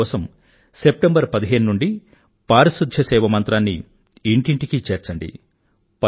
అందుకోసం సెప్టెంబర్ పదిహేను నుండీ పారిశుధ్య సేవ మంత్రాన్ని ఇంటింటికీ చేర్చండి